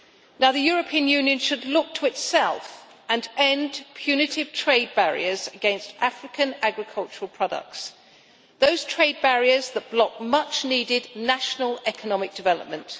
Now the European Union should look to itself and end its punitive trade barriers against African agricultural products, those trade barriers that block much needed national economic development.